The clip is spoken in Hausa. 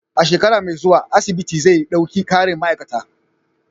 A shekara mai zuwa, asibitin zai ɗauki ƙarin ma'aikata.